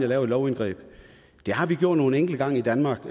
laver et lovindgreb det har vi gjort nogle enkelte gange i danmark